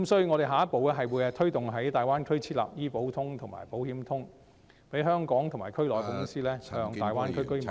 我們下一步會推動在大灣區設立"醫保通"及"保險通"，讓香港及區內的公司向大灣區居民銷售......